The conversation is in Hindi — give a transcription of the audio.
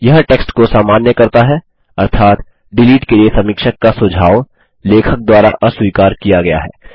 यह टेक्स्ट को सामान्य करता है अर्थात डिलीट के लिए समीक्षक का सुझाव लेखक द्वारा अस्वीकार किया गया है